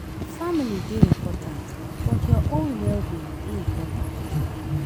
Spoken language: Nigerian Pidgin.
Family dey important but your own well-being dey important too.